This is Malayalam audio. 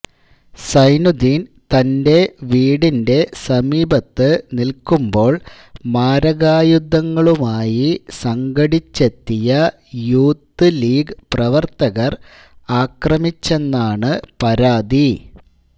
സൈനുദ്ദീന് തന്റെ വീടിന്റെ സമീപത്ത് നില്ക്കുമ്പോള് മാരകായുധങ്ങളുമായി സംഘടിച്ചെത്തിയ യൂത്ത് ലീഗ് പ്രവര്ത്തകര് ആക്രമിച്ചെന്നാണ് പരാതി